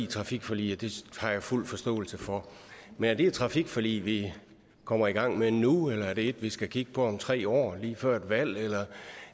trafikforlig og det har jeg fuld forståelse for men er det et trafikforlig vi kommer i gang med nu eller er det et vi skal kigge på om tre år lige før et valg